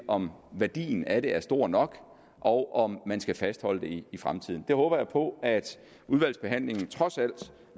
om værdien af det er stor nok og om man skal fastholde det i fremtiden jeg håber på at udvalgsbehandlingen trods